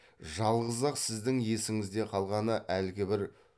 жалғыз ақ сіздің есіңізде қалғаны әлгі бір